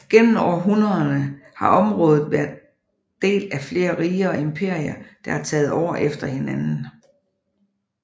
Gennem århundrederne har området været del af flere riger og emperier der har taget over efter hinanden